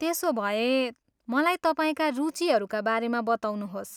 त्यसोभए, मलाई तपाईँका रुचिहरूका बारेमा बताउनुहोस्।